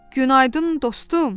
Günaydın, dostum.